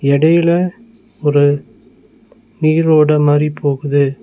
எடைல ஒரு நீரோட மாரி போகுது.